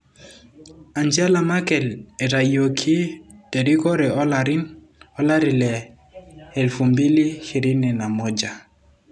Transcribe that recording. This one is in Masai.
Angela Merkel etayioki terikore olari le 2021